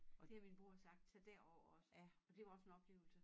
Det har min bror sagt tag derover også og dét var goså en oplevelse